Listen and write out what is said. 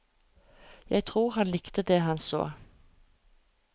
Jeg tror han likte det han så.